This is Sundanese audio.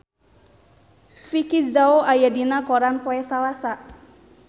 Vicki Zao aya dina koran poe Salasa